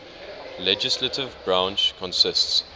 legislative branch consists